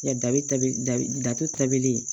Dabida tabilen